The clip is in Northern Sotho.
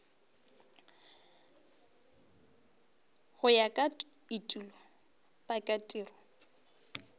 go ya ka etulo pakatiro